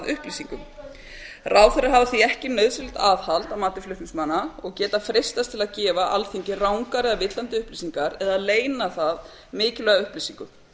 upplýsingum ráðherrar hafa því ekki nauðsynlegt aðhald að mati flutningsmanna og geta freistast til að gefa alþingi rangar eða villandi upplýsingar eða leyna það mikilvægum upplýsingum